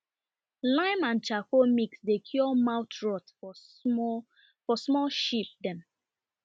lime and charcoal mix dey cure mouth rot for small for small sheep dem